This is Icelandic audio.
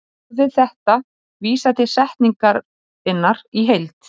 Orðið þetta vísar til setningarinnar í heild.